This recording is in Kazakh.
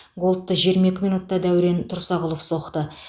голдты жиырма екі минутта дәурен тұрсағұлов соқты